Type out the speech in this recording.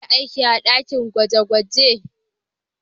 Za a yi aiki a dakin gwaje-gwaje.